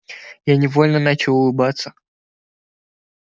я невольно начал улыбаться